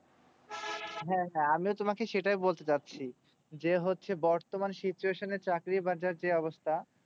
হ্যাঁ হ্যাঁ আমিও তোমাকে এটাই বলতে চাইছি যে হচ্ছে বতর্মান situation এই চাকরি বাজার এর যে অবস্থা